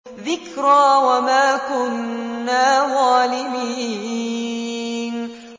ذِكْرَىٰ وَمَا كُنَّا ظَالِمِينَ